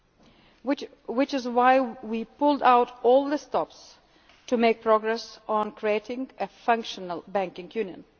financial markets. That is why we pulled out all the stops to make progress on creating a functional